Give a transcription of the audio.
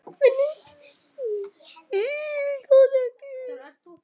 Ég skil það ekki.